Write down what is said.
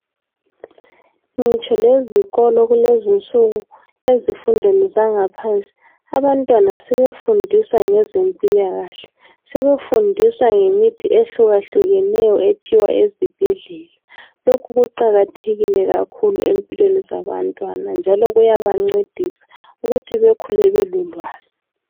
Ngitsho lezikolo kulezinsuku ezifundweni zangaphansi abantwana sebefundiswa ngeze mpilakahle, sebefundiswa ngemithi ehluka hlukeneyo ephiwa ezibhedlela lokhu kuqakatheke kakhulu empilweni zabantwana njalo kuyabancedisa ukuthi bekhule belolwazi.